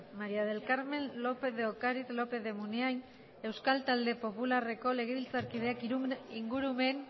maría del carmen lópez de ocariz lópez de munain euskal talde popularreko legebiltzarkideak ingurumen